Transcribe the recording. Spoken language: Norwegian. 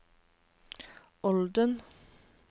Olden